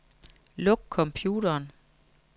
Luk computeren.